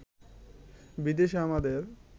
বিদেশে আমাদের